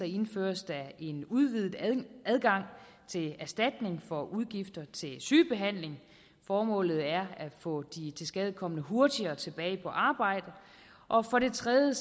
indføres der en udvidet adgang til erstatning for udgifter til sygebehandling formålet er at få de tilskadekomne hurtigere tilbage på arbejde og for det tredje